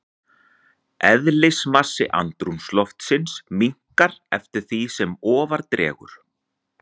Eðlismassi andrúmsloftsins minnkar eftir því sem ofar dregur.